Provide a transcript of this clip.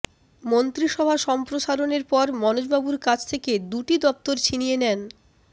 মন্ত্রিসভা সম্প্রসারণের পর মনোজবাবুর কাছ থেকে দুটি দফতর ছিনিয়ে নেন